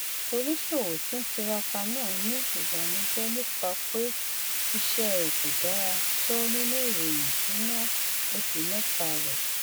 oníṣòwò tí ń tiraka náà ní ìbànújẹ nípa pé iṣẹ rẹ kò dára tó nínú ìròyìn ìṣúná oṣù mẹta rẹ